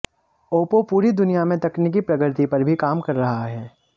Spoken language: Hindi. ओप्पो पूरी दुनिया में तकनीकी प्रगति पर भी काम कर रहा है